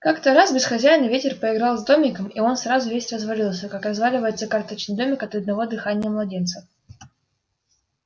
как-то раз без хозяина ветер поиграл с домиком и он сразу весь развалился как разваливается карточный домик от одного дыхания младенца